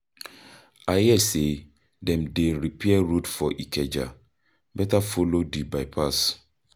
I hear say dem dey repair road for Ikeja, better follow di bypass.